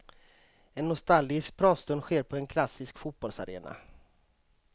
En nostalgisk pratstund sker på en klassisk fotbollsarena.